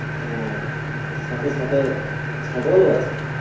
আর সাথে সাথে ছাগলও আছে